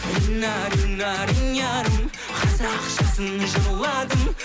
рина рина ринярым қазақшасын жырладым